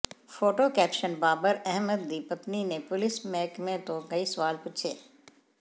photo caption Babar Ahmed ਦੀ ਪਤਨੀ ਨੇ ਪੁਲਿਸ ਮਹਿਕਮੇ ਤੋਂ ਕਈ ਸਵਾਲ ਪੁੱਛੇ